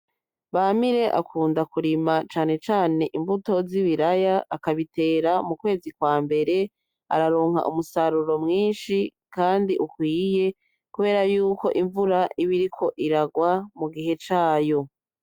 Bamire akunda kirima cane cane imbuto zibiraya, akabitera mukwezi kwambere, araronka umusaruro mwinshi kandi ukwiye, kubera yuko imvura iba iriko iragwa mugihe cayo.